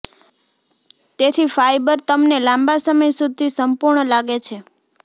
તેથી ફાયબર તમને લાંબા સમય સુધી સંપૂર્ણ લાગે છે